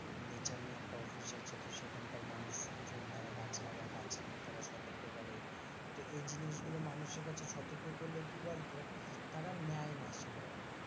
Nature নিয়ে একটা অভ্যাস আছে তো সেখানকার মানুষজন তারা গাছ লাগায় গাছ নিইয়ে তারা সতর্ক করে তো এই জিনিসগুলো মানুষের কাছে সতর্ক করলেও কি বলতো? তারা নেয় না সেভাবে,